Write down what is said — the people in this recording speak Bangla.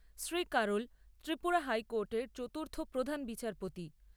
শ্রী শ্রী কারোল ত্রিপুরা হাইকোর্টের চতুর্থ প্রধান বিচারপতি